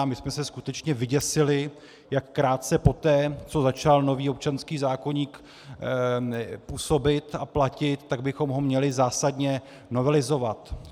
A my jsme se skutečně vyděsili, jak krátce poté, co začal nový občanský zákoník působit a platit, tak bychom ho měli zásadně novelizovat.